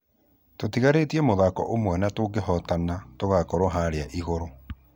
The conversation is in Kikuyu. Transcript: Tũtigarĩtie mũthako ũmwe na tũngehotana tũgũkorwo haria igũrũ